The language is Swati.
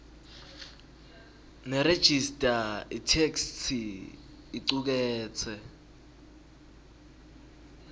nerejista itheksthi icuketse